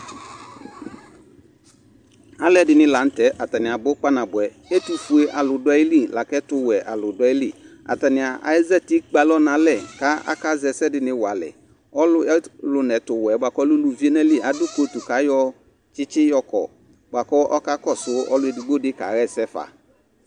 Alʋɛdɩnɩ la nʋ tɛ, atanɩ abʋ kpanabʋɛ Ɛtʋfuealʋ dʋ ayili la kʋ ɛtʋwɛalʋ dʋ ayili Atanɩ ezati kpe alɔ nʋ alɛ kʋ akazɛ ɛsɛ dɩnɩ wa alɛ Ɔlʋ ɛtʋ ɔlʋ nʋ ɛtʋwɛ bʋa kʋ ɔlɛ uluvi nʋ ayili adʋ kotu kʋ ayɔ tsɩtsɩ yɔkɔ bʋa kʋ ɔkakɔsʋ ɔlʋ edigbo dɩ kaɣa ɛsɛ fa